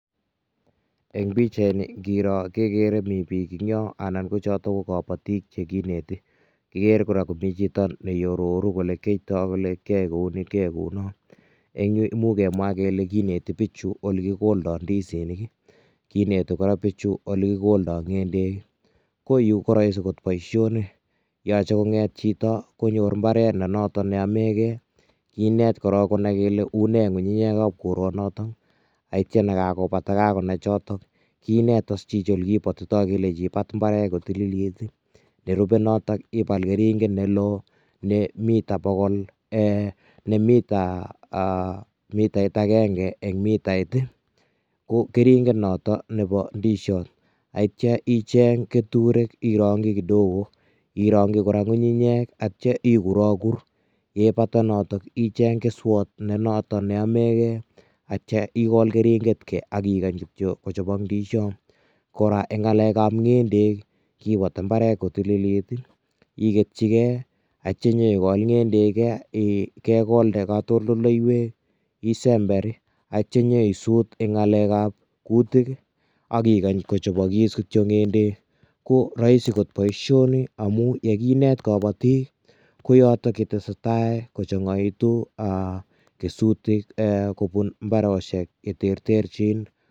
Eng pichait ni ingiiror kegere kele Mii biik che Mii yaan anan ko chotoon ko kabatiik chekinetii igere kora komii chitoo ne iaroruu ole kiyaitaa ole kiyae kounii kiyae kou noon eng kemuuch kemwaah kole kinetii biichu ole kigoldaa ndizinik ii kinetii kora bichuu ole kigoldaa ngendeek, ko Yuu ko raisi ko boisionik yachei kongeet chitoo konyoor mbaret ne notoon ne yamee gei kinet korong kole unee ngungunyeek ab koraan notoon, ye kakobaa kakonai chotoon kinet, iis chichitoon ole kibutitai mbaret ,nerube notoon ibaal keringeet ne loo ne mitaa bogol eeh .mitait agenge en mitait ii ko keringeet notoon nebo ndiziat ak yeityaa icheeng ketureek kidogo irangyii kora ngungunyeek ak yeityaa iguragur yeipata notoon icheeng kesuot ne notoon ne Ameen gei ak yeityaa igool keringeet igol ndiziat, kora eng ngalek ab ngeendek ii kibatii mbaret kotililit ak yeityaa igoi ngendeek kegoldee katoltoleiweek isember ak yeityaa inyei suut eng ngalek ab kutiik ii akikaany kochabagis kityoi ngendeek ko raisi koot boisioni amuun ye kineet kabatiik ii ko yotoon ye tesetai kochangaituun aah kesutiik kobuun mbarosiek che terterjiin.